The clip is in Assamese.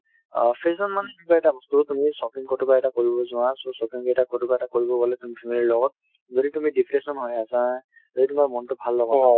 অ fashion মানেই কিবা এটা বস্তু তুমি shopping কৰিব যোৱা so shopping কেইটা ক'ৰবাত কৰিব গ'লে তুমি family ৰ লগত যদি তুমি depression হৈ আছা যদি তোমাৰ মনতো ভাল লগা